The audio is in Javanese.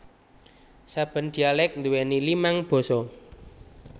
Saben dialek nduweni limang basa